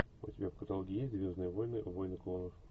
у тебя в каталоге есть звездные войны войны клонов